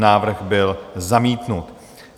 Návrh byl zamítnut.